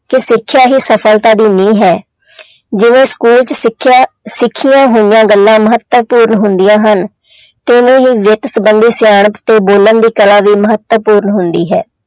ਕਿ ਸਿੱਖਿਆ ਹੀ ਸਫ਼ਲਤਾ ਦੀ ਨੀਂਹ ਹੈ ਜਿਵੇਂ school 'ਚ ਸਿੱਖਿਆ ਸਿੱਖੀਆਂ ਹੋਈਆਂ ਗੱਲਾਂ ਮਹੱਤਵਪੂਰਨ ਹੁੰਦੀਆਂ ਹਨ ਤਿਵੇਂ ਹੀ ਵਿੱਤ ਸੰਬੰਧੀ ਸਿਆਣਪ ਤੇ ਬੋਲਣ ਦੀ ਕਲਾ ਵੀ ਮਹੱਤਵਪੂਰਨ ਹੁੰਦੀ ਹੈ।